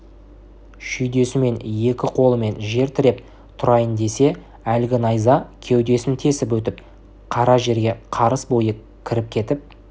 шүйдесімен екі қолымен жер тіреп тұрайын десе әлгі найза кеудесін тесіп өтіп қара жерге қарыс бойы кіріп кетіп